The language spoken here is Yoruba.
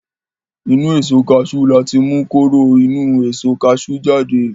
Inú Èso kaṣú láti mú kóró inú èso kaṣú jáde